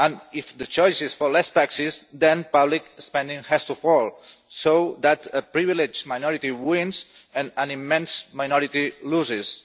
If the choice is for less taxes, then public spending has to fall, so that a privileged minority wins and an immense minority loses.